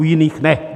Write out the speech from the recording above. U jiných ne.